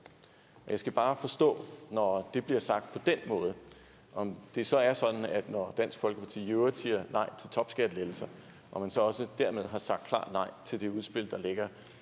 jeg skal bare forstå når det bliver sagt på den måde om det så er sådan når dansk folkeparti i øvrigt siger nej til topskattelettelser at man så også dermed har sagt klart nej til det udspil der ligger